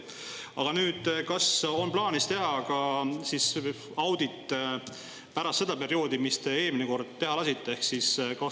Aga kas on plaanis teha audit ka selle perioodi kohta, mis te eelmine kord teha lasite?